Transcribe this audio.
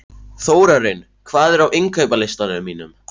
Þórarinn, hvað er á innkaupalistanum mínum?